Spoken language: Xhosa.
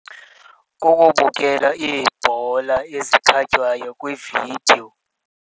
Kukubukela iibhola ezikhatywayo kwividiyo.